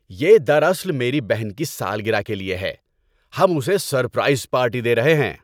یہ دراصل میری بہن کی سالگرہ کے لیے ہے۔ ہم اسے سرپرائز پارٹی دے رہے ہیں۔